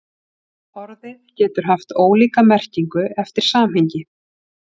Orðið getur haft ólíka merkingu eftir samhengi.